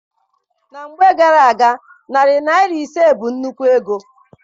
Na mgbe gara-aga, narị naịra ise bụ nnukwu ego.